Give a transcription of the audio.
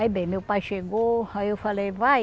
Aí bem, meu pai chegou, aí eu falei, vai.